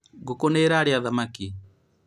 ngũkũ nĩ ĩrarĩa thamaki